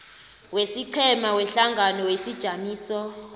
wesiqhema wehlangano wesijamiso